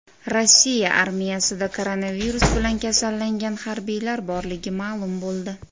Rossiya armiyasida koronavirus bilan kasallangan harbiylar borligi ma’lum bo‘ldi.